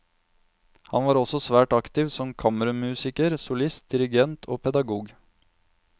Han var også svært aktiv som kammermusiker, solist, dirigent og pedagog.